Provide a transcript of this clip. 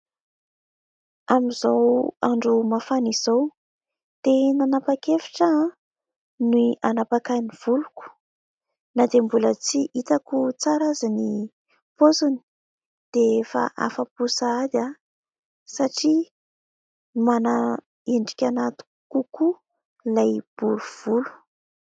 Amin'izao andro mafana izao, dia nanapak'hevitra aho an ny hanapaka ny voloko; na dia mbola tsy hitako tsara azy ny paoziny, dia efa afa-po sahady aho satria mana endrika ahy kokoa ilay bory volo.